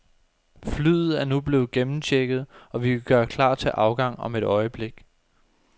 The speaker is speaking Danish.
Flyet er nu blevet gennemchecket, og vi kan gøre klar til afgang om et øjeblik.